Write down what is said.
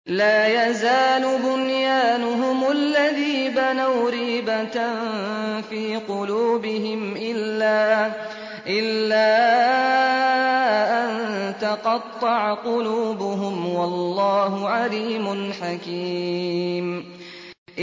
لَا يَزَالُ بُنْيَانُهُمُ الَّذِي بَنَوْا رِيبَةً فِي قُلُوبِهِمْ إِلَّا أَن تَقَطَّعَ قُلُوبُهُمْ ۗ وَاللَّهُ عَلِيمٌ حَكِيمٌ